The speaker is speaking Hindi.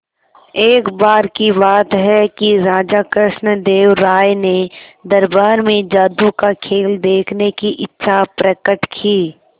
एक बार की बात है कि राजा कृष्णदेव राय ने दरबार में जादू का खेल देखने की इच्छा प्रकट की